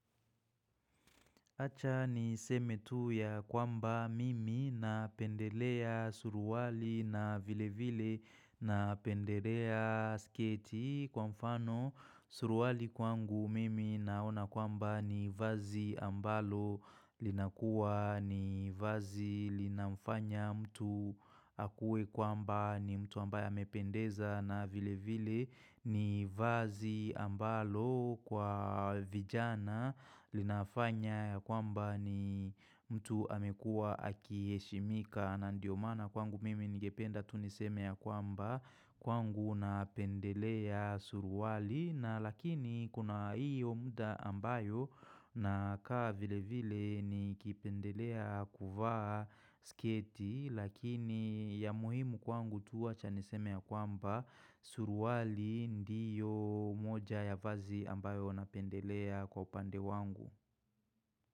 Acha niseme tu ya kwamba mimi napendelea suruwali na vile vile napendelea sketi kwa mfano suruwali kwangu mimi naona kwamba ni vazi ambalo linakuwa ni vazi linamfanya mtu akue kwamba ni mtu ambaye amependeza na vile vile ni vazi ambalo kwa vijana linafanya ya kwamba ni mtu amekua akiheshimika na ndio maana kwangu mimi ningependa tu niseme ya kwamba kwangu napendelea suruwali na lakini kuna iyo mda ambayo nakaa vile vile nikipendelea kuvaa sketi Lakini ya muhimu kwangu tu wacha niseme ya kwamba suruwali ndiyo moja ya vazi ambayo napendelea kwa upande wangu.